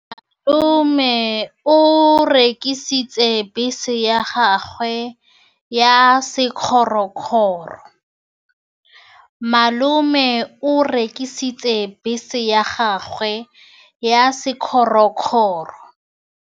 Malome o rekisitse bese ya gagwe ya sekgorokgoro.